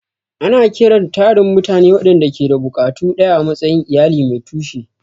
Ana kiran tarin mutane waɗanda ke da buƙatu ɗaya a matsayin "iyali mai tushe."